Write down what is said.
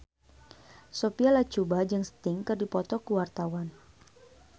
Sophia Latjuba jeung Sting keur dipoto ku wartawan